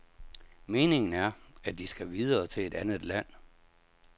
Meningen er, at de skal videre til et andet land.